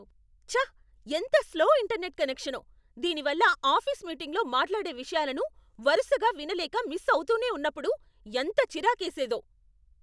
ఛ! ఎంత slow internet కనెక్షనో. దీని వల్ల ఆఫీస్ మీటింగ్లో మాట్లేడే విషయాలను వరుసగా వినలేక మిస్ అవుతూనే ఉన్నప్పుడు ఎంత చిరాకేసేదో.